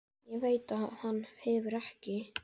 Ég veit að hann hverfur ekki.